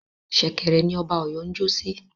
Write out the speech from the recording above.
Ṣẹ̀kẹ̀rẹ̀ ni Ọba Ọ̀yọ́ ń jọ́ sí